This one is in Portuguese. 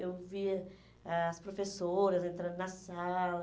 Eu via as professoras entrando na sala.